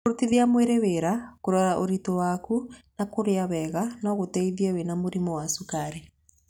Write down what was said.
Kũrutithia mwĩrĩ wĩra, kũrora ũritũ waku na kũrĩa wega no gũteithie wĩna mũrimũ wa cukari.